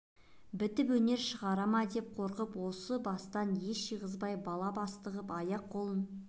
бітіп өнер шығара ма деп қорқып осы бастан ес жиғызбай бала басты ғып аяқ-қолын